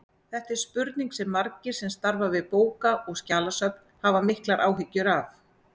Þetta er spurning sem margir sem starfa við bóka- og skjalasöfn hafa miklar áhyggjur af.